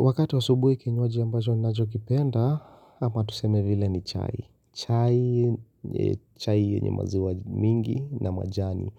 Wakati wa asubuhi kinywaji ambacho ninachokipenda ama tuseme vile ni chai. Chai chai yenye maziwa mingi na majani